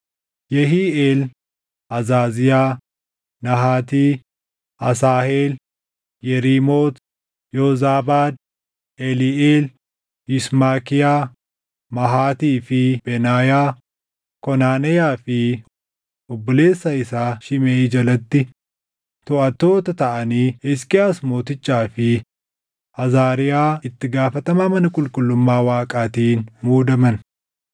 Yehiiʼeel, Azaziyaa, Nahaati, Asaaheel, Yeriimooti, Yoozaabaad, Eliiʼeel, Yismakiyaa, Mahatii fi Benaayaa, Konaneyaa fi obboleessa isaa Shimeʼii jalatti toʼattoota taʼanii Hisqiyaas mootichaa fi Azaariyaa itti gaafatamaa mana qulqullummaa Waaqaatiin muudaman.